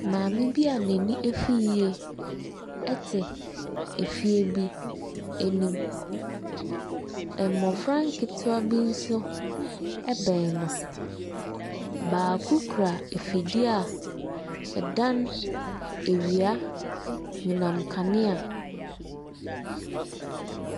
Maame bi a n'ani afi yie te efie bi anim. Mmɔfra nketewa bi nso bɛn no. Baako kura afidie a ɛdane awia anyinam kanea.